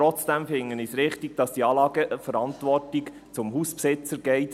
Trotzdem finde ich es richtig, dass die Anlageverantwortung an den Hausbesitzer übergeht.